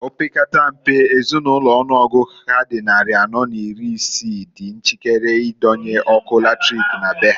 Opekata mpe Ezinulo ọnụọgụ ha dị nnarị anọọ n'iri isii di njikere idonye ọkụ latrik na be ha.